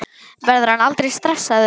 Verður hann aldrei stressaður?